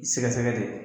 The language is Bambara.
I sɛgɛsɛgɛ de